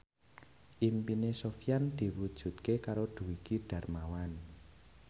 impine Sofyan diwujudke karo Dwiki Darmawan